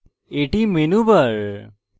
এটি menu bar